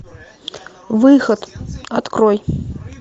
выход открой